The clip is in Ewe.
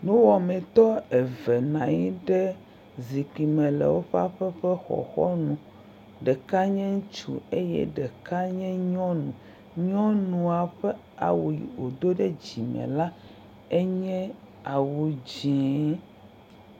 Nuwɔmetɔ eve nɔ anyi ɖe zikpui me le woƒe aƒe ƒe xɔxɔnu. Ɖeka nye ŋutsu eye ɖeka nye nyɔnu. Nyɔnua ƒe awu yi wòdo ɖe dzime la enye awu dzee.